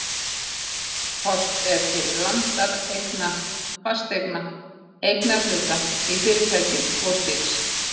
Horft er til landareigna, fasteigna, eignarhluta í fyrirtækjum og slíks.